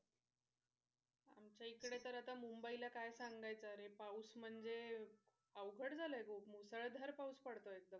आमच्याइकडे तर आता मुंबई ला काय सांगायचं अरे पाऊस म्हणजे अवघड झालं आहे खूप मुसळधार पाऊस पडतोय एकदम.